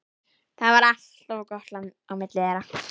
Það var alltaf gott á milli þeirra.